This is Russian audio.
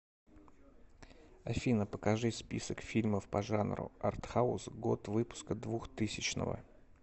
афина покажи список фильмов по жанру артхаус год выпуска двухтысячного